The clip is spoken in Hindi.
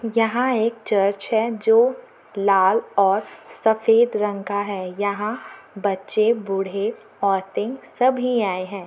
यहाँ एक चर्च है जो लाल और सफेद रंग का है यहाँ बच्चे बुड़े औरते सभी आए हैं ।